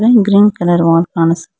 ಹಾಗೆ green colour wall ಕಾಣಿಸುತ್ತಿದೆ.